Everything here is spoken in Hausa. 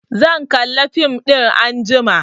Zan kalla fim ɗin anjima